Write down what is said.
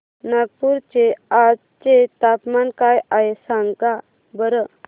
नागपूर चे आज चे तापमान काय आहे सांगा बरं